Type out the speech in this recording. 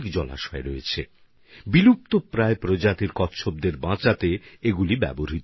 এগুলোতে বেশ কিছু বিলুপ্তপ্রায় কচ্ছপের প্রজাতি সংরক্ষিত আছে